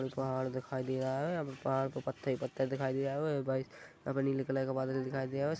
पहाड़ दिखाई दे रहा है पहाड़ के पत्ते पत्ते दिखाई दे रहे है भई यहां पर नीले कलर का बदल दिखाई दे रहा है।